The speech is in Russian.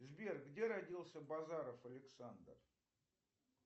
сбер где родился базаров александр